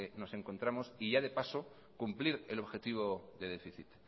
nos encontramos y ya de paso cumplir el objetivo de déficit